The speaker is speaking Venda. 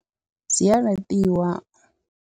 Dzi a laṱiwa.